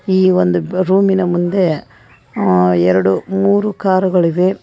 ಈ ಒಂದು ರೂಮಿನ ಮುಂದೆ ಅ ಎರಡು ಮೂರು ಕಾರುಗಳಿವೆ.